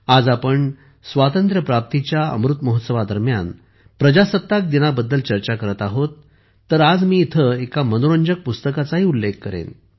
आज आपण स्वातंत्र्य प्राप्तीच्या अमृत महोत्सवादरम्यान प्रजासत्ताक दिनाबद्दल चर्चा करत आहोत तर आज मी इथे एका मनोरंजक पुस्तकाचाही उल्लेख करेन